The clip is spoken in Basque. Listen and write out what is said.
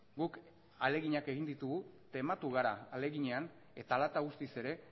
guk ahaleginak egin ditugu tematu gara ahaleginean eta hala eta guztiz ere